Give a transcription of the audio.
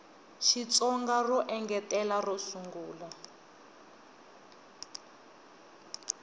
xitsonga ro engetela ro sungula